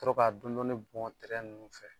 Ka sɔrɔ k'a dɔndɔni bɔn tɛrɛn ninnu sanfɛ